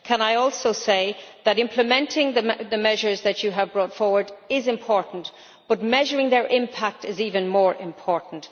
Can I also, Commissioner, say that implementing the measures that you have brought forward is important, but measuring their impact is even more important?